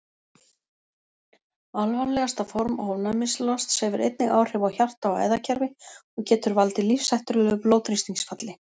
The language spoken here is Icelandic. Alvarlegasta form ofnæmislosts hefur einnig áhrif á hjarta- og æðakerfi og getur valdið lífshættulegu blóðþrýstingsfalli.